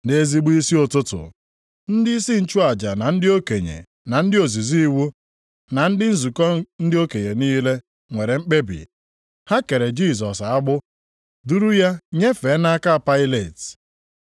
Nʼezigbo isi ụtụtụ, ndịisi nchụaja na ndị okenye na ndị ozizi iwu, na ndị nzukọ ndị okenye niile, nwere mkpebi. Ha kere Jisọs agbụ, duru ya nyefee nʼaka Pailet.